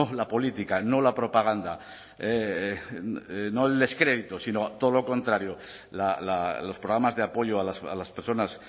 la política no la propaganda no el descrédito sino todo lo contrario los programas de apoyo a las personas